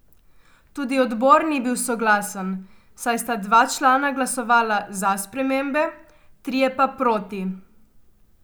Tudi odbor ni bil soglasen, saj sta dva člana glasovala za spremembe, trije pa proti.